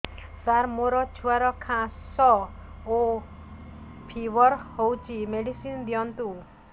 ସାର ମୋର ଛୁଆର ଖାସ ଓ ଫିବର ହଉଚି ମେଡିସିନ ଦିଅନ୍ତୁ